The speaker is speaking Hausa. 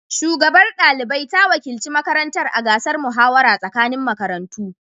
Shugabar ɗalibai ta wakilci makarantar a gasar muhawara tsakanin makarantu.